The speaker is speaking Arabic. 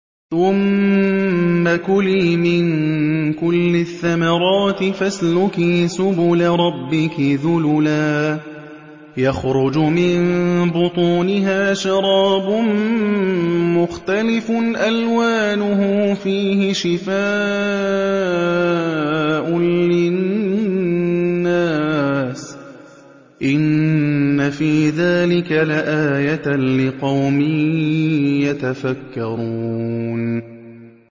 ثُمَّ كُلِي مِن كُلِّ الثَّمَرَاتِ فَاسْلُكِي سُبُلَ رَبِّكِ ذُلُلًا ۚ يَخْرُجُ مِن بُطُونِهَا شَرَابٌ مُّخْتَلِفٌ أَلْوَانُهُ فِيهِ شِفَاءٌ لِّلنَّاسِ ۗ إِنَّ فِي ذَٰلِكَ لَآيَةً لِّقَوْمٍ يَتَفَكَّرُونَ